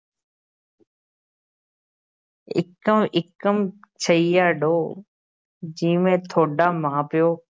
ਇੱਕਮ ਇੱਕਮ ਛਈਆ ਡੋ ਜੀਵੇ ਥੋਡਾ ਮਾਂ ਪਿਓ